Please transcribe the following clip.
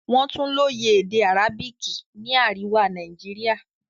Wọ́n tún lóye èdè Arabic ní àríwá Nàìjíríà.